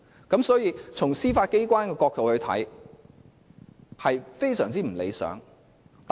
因此，從司法機構的角度來說，這是極不理想的。